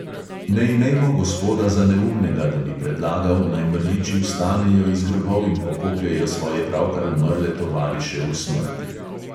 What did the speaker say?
Ne imejmo gospoda za neumnega, da bi predlagal, naj mrliči vstanejo iz grobov in pokopljejo svoje pravkar umrle tovariše v smrti.